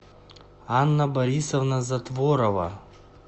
анна борисовна затворова